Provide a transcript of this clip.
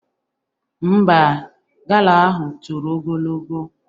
Ḿbà, gala ahụ toro ogologo.